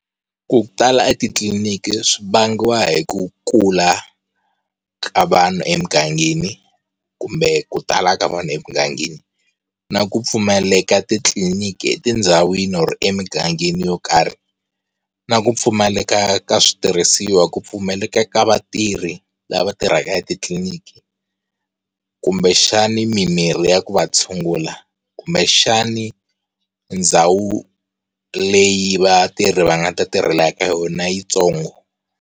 Ku tala etitliliniki swivangiwa hi ku kula ka vanhu emugangeni kumbe ku tala ka vanhu emugangeni, na ku pfumaleka titliliniki etindhawini kumbe emugangeni yo karhi, na ku pfumaleka ka switirhisiwa, ku pfumaleka ka vatirhi lava va tirhaka etitliliniki kumbexani mimirhi ya ku va tshungula kumbexani ndhawu leyi vatirhi va nga ta tirhela eka yona yitsongo.